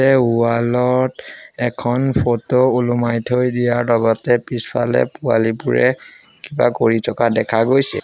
Wall ত এখন photo ওলোমাই থৈ দিয়াৰ লগতে পিছফালে পোৱালিবোৰে কিবা কৰি থকা দেখা গৈছে।